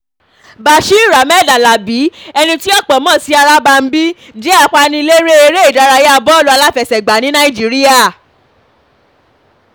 bashir ahmed alábí ẹni tí ọ̀pọ̀ mọ̀ sí arabaràḿbí jẹ́ apaniléré eré ìdárayá bọ́ọ̀lù aláfẹsẹ̀gbá ní nàìjíríà